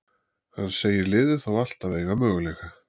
Hann segir liðið þó alltaf eiga möguleika.